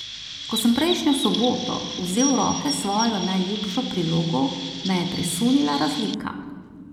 Ko sem prejšnjo soboto vzel v roke svojo najljubšo prilogo, me je presunila razlika.